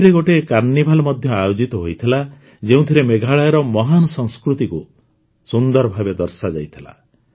ଏଥିରେ ଗୋଟିଏ କାର୍ନିଭାଲ ମଧ୍ୟ ଆୟୋଜିତ ହୋଇଥିଲା ଯେଉଁଥିରେ ମେଘାଳୟର ମହାନ ସଂସ୍କୃତିକୁ ସୁନ୍ଦର ଭାବେ ଦର୍ଶାଯାଇଥିଲା